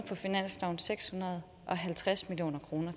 seks hundrede og halvtreds million kroner